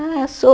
Ah, sou.